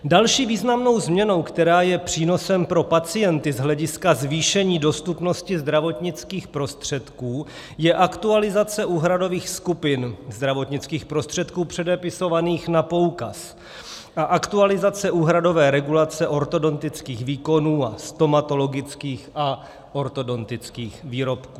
Další významnou změnou, která je přínosem pro pacienty z hlediska zvýšení dostupnosti zdravotnických prostředků, je aktualizace úhradových skupin zdravotnických prostředků předepisovaných na poukaz a aktualizace úhradové regulace ortodontických výkonů a stomatologických a ortodontických výrobků.